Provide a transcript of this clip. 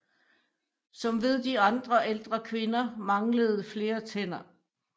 Som ved de andre ældre kvinder manglede flere tænder